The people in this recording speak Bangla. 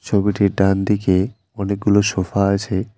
ছবিটির ডানদিকে অনেকগুলো সোফা আছে।